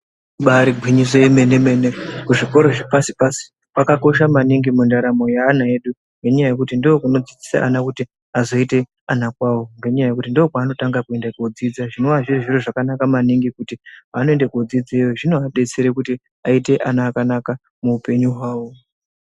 Ibairi ngwinyiso ye mene mene kuzvikoro zve pasi pasi kwaka kosha maningi mundaramo ye ana edu ngekuti ndiko kuno dzidzisa ana kuti azoite ana kwawo ngenya yekuti ndo kwaano tanga kuende kodzidza zvinova zviro zvaka naka maningi ngekuti paano ende ko dzidzeyo zvinova detsera kuti vaite vana vakanaka mu hupenyu hwawo.